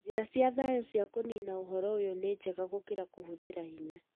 Njĩra cia thaayũ cia kũnina ũhoro ũyũ nĩnjega gũkĩra kũhũthĩra hinya